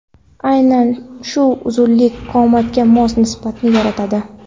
Aynan shu uzunlik qomatga mos nisbatni yaratadi.